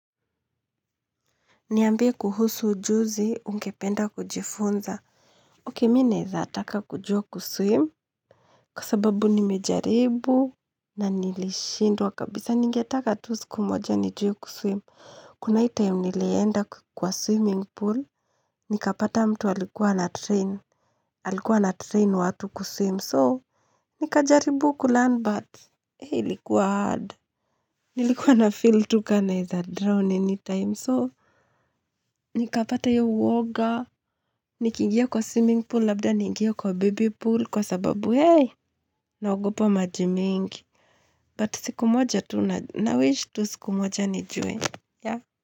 Niambie kuhusu ujuzi, ungependa kujifunza. Okay, mimi naweza taka kujua kuswim. Kwa sababu nimejaribu. Na nilishindwa kabisa ningetaka tu siku moja nijue kuswim. Kuna hii time nilienda kwa swimming pool. Nikapata mtu alikuwa ana train. Halikuwa na train watu kuswim. So, nikajaribu kulearn but. Hii ilikuwa hard. Nilikuwa na feel tu kama naweza drown any time. So, nikapata hiyo uoga. Nikiingia kwa swimming pool labda niingie kwa baby pool kwa sababu hey naogopa maji mingi but siku moja tu na wish tu siku moja nijue yeah.